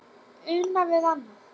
Una við annað.